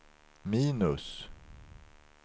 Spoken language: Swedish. minus